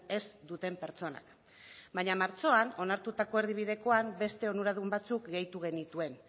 ez duten pertsonak baina martxoan onartutako erdibidekoan beste onuradun batzuk gehitu genituen